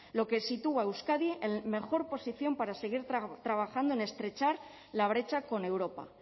lo que sitúa a euskadi en mejor posición para seguir trabajando en estrechar la brecha con europa